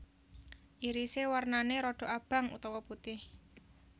Irise warnane rodok abang utawa putih